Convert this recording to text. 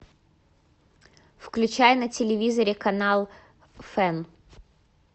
включай на телевизоре канал фэн